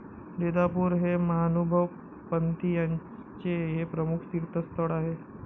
रीधापूर हे महानुभव पंथीयांचे हे प्रमुख तीर्थस्थळ आहे.